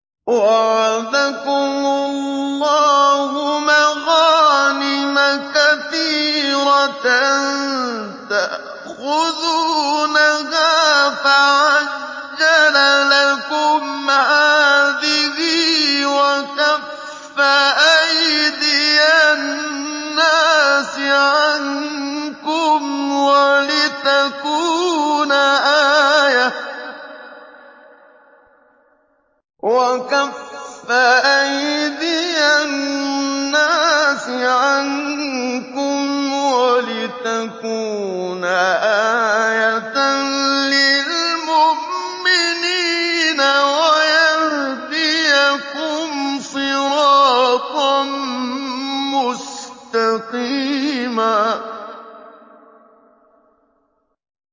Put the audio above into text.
وَعَدَكُمُ اللَّهُ مَغَانِمَ كَثِيرَةً تَأْخُذُونَهَا فَعَجَّلَ لَكُمْ هَٰذِهِ وَكَفَّ أَيْدِيَ النَّاسِ عَنكُمْ وَلِتَكُونَ آيَةً لِّلْمُؤْمِنِينَ وَيَهْدِيَكُمْ صِرَاطًا مُّسْتَقِيمًا